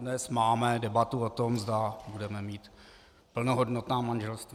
Dnes máme debatu o tom, zda budeme mít plnohodnotná manželství.